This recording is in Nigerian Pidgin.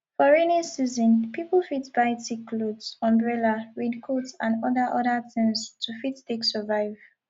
for rainy season pipo fit buy thick cloth umbrella rain coat and oda oda things to fit take survive